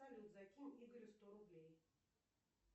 салют закинь игорю сто рублей